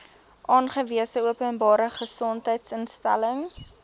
aangewese openbare gesondheidsinstelling